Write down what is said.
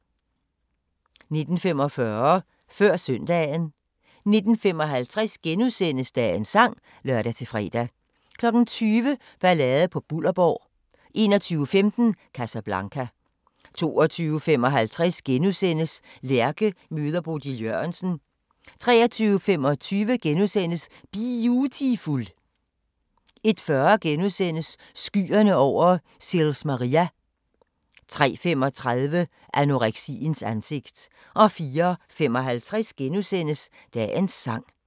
19:45: Før Søndagen 19:55: Dagens sang *(lør-fre) 20:00: Ballade på Bullerborg 21:15: Casablanca 22:55: Lærke møder Bodil Jørgensen * 23:25: Biutiful * 01:40: Skyerne over Sils Maria * 03:35: Anoreksiens ansigt 04:55: Dagens sang *